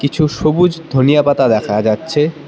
কিছু সবুজ ধনিয়া পাতা দেখা যাচ্ছে।